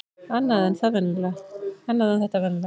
Annað en þetta venjulega.